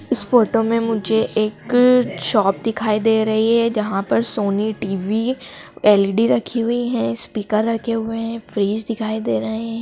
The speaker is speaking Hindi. इस फोटो में मुझे एक शॉप दिखाई दे रही हैं जहां पर सोनी टीवी एल_इ_डी रखी हुईं हैं स्पीकर रखे हुएं हैं फ्रिज दिखाई दे रहे हैं।